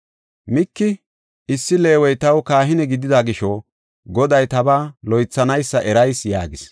Miiki, “Issi Leewey taw kahine gidida gisho Goday tabaa loythanaysa erayis” yaagis.